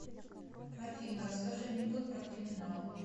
афина расскажи анекдот про криминал